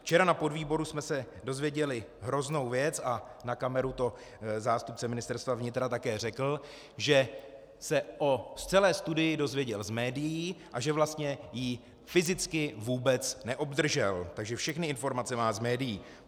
Včera na podvýboru jsme se dozvěděli hroznou věc a na kameru to zástupce Ministerstva vnitra také řekl, že se o celé studii dozvěděl z médií a že vlastně ji fyzicky vůbec neobdržel, takže všechny informace má z médií.